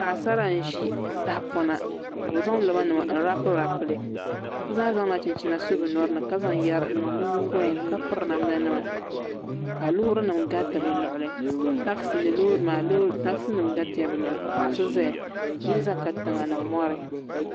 Paɣasara nʒi tahapona ka bi zaŋ roba nim n raapu raapu li bi zaa zaŋla cinchina so bi nyori ni ka zaŋ yɛri n niŋ bi nyigoya ni ka piri namda nima ka loori nim gariti bi luɣuli takisi ni loorI nima takisi nim garitila bi luɣuli ka paɣa so ʒɛya yili ʒɛ katiŋa ni mori